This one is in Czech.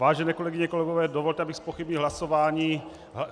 Vážené kolegyně, kolegové, dovolte, abych zpochybnil hlasování.